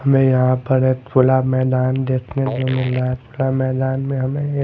हमें यहाँ पर एक खुला मैदान देखने को मिल रहा है खुला मैदान में हमें ये--